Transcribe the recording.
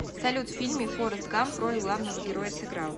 салют в фильме форест гамп роль главного героя сыграл